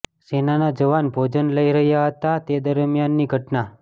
સેનાના જવાન ભોજન લઈ રહ્યાં હતા તે દરમિયાનની ઘટના